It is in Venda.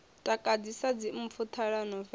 takadzi sa dzimpfu ṱhalano vengo